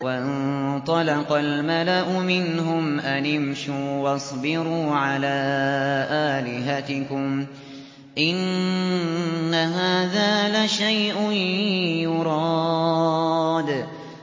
وَانطَلَقَ الْمَلَأُ مِنْهُمْ أَنِ امْشُوا وَاصْبِرُوا عَلَىٰ آلِهَتِكُمْ ۖ إِنَّ هَٰذَا لَشَيْءٌ يُرَادُ